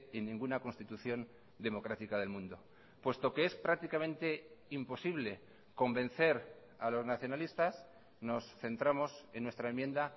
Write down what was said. en ninguna constitución democrática del mundo puesto que es prácticamente imposible convencer a los nacionalistas nos centramos en nuestra enmienda